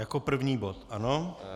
Jako první bod, ano?